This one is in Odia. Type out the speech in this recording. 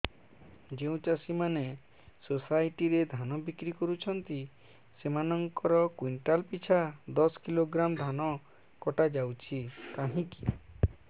ଯେଉଁ ଚାଷୀ ମାନେ ସୋସାଇଟି ରେ ଧାନ ବିକ୍ରି କରୁଛନ୍ତି ସେମାନଙ୍କର କୁଇଣ୍ଟାଲ ପିଛା ଦଶ କିଲୋଗ୍ରାମ ଧାନ କଟା ଯାଉଛି କାହିଁକି